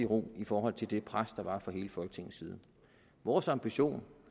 ro i forhold til det pres der var fra hele folketingets side vores ambition